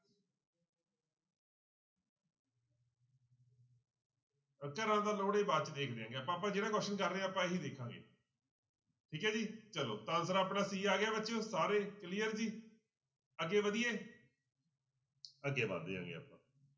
ਬਾਅਦ 'ਚ ਦੇਖ ਲੈਂਦੇ ਹਾਂ ਆਪਾਂ ਜਿਹੜਾ question ਕਰ ਰਹੇ ਹਾਂ ਆਪਾਂ ਇਹੀ ਦੇਖਾਂਗੇ ਠੀਕ ਹੈ ਜੀ ਚਲੋ ਤਾਂ answer ਆਪਣਾ c ਆ ਗਿਆ ਬੱਚਿਓ ਸਾਰੇ clear ਜੀ ਅੱਗੇ ਵਧੀਏ ਅੱਗੇ ਵੱਧਦੇ ਹੈਗੇ ਆਪਾਂ।